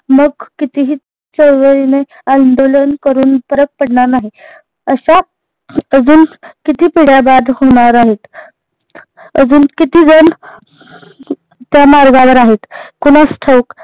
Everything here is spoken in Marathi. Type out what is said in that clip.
मग कितीही चाळवलीने आंदोलन करून फरक पडणार नाही, अश्या अजून किती पिढ्या बाद होणार आहेत अजून किती जन त्या मार्गावर आहेत कुणाच ठाऊक